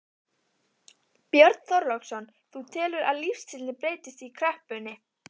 Björn Þorláksson: Þú telur að lífstíllinn breytist í kreppunni?